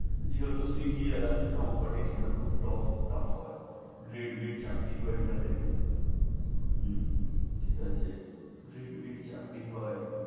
যেহেতু CGR আছে, competition টা খুব tu~ tuff হয়। grade B চাকরি হয় এটা থেকে, হু ঠিক আছে। grade bay চাকরি হয়